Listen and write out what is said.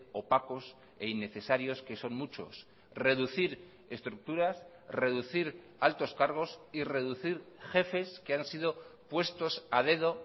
opacos e innecesarios que son muchos reducir estructuras reducir altos cargos y reducir jefes que han sido puestos a dedo